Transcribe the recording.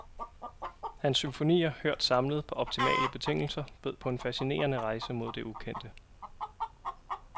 Hans symfonier hørt samlet på optimale betingelser bød på en fascinerende rejse mod det ukendte.